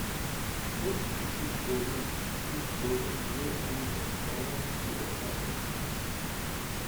no keep seed for room seed for room wey animals or rat dey waka anyhow